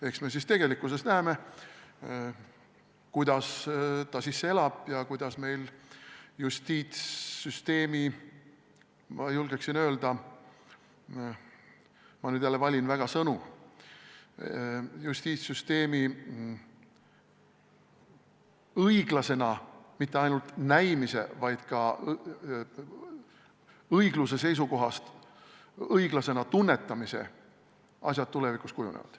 Eks me tegelikkuses näeme, kuidas ta sisse elab ja kuidas meil justiitssüsteemi, julgeksin öelda – ma nüüd jälle väga valin sõnu – õiglasena mitte ainult näimise, vaid ka õigluse seisukohast õiglasena tunnetamise asjad tulevikus kujunevad.